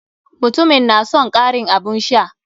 Mutumin na son karin abun sha.